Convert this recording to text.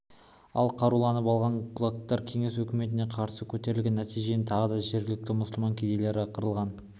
ал қаруланып алған кулактар кеңес өкіметіне қарсы көтерілген нәтижесінде тағы да жергілікті мұсылман кедейлері қырылған